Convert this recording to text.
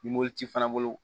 Ni moti fana bolo